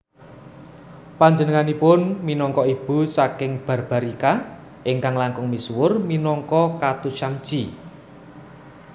Panjenenganipun minangka ibu saking Barbarika ingkang langkung misuwur minangka Khatushyamji